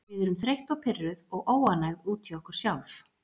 Við erum þreytt og pirruð og óánægð út í okkur sjálf.